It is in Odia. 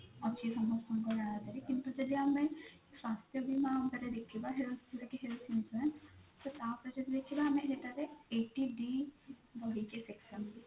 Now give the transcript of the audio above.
ଅଛି ସମସ୍ତଙ୍କ ନା ରେ କିନ୍ତୁ ଯଦି ଆମେ ସ୍ୱାସ୍ଥ୍ୟ ବୀମା ଅନୁସାରେ ଦେଖିବା ଉପରେ ଦେଖିବା ଯୋଉଟା health insurance ତ ତା ପରେ ଯଦି ଦେଖିବା ଆମେ ସେଥିରେ eighty D ରହିଛି section